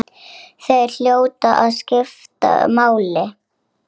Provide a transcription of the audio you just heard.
Það fékk hún samt aldrei.